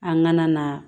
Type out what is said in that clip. An ŋana na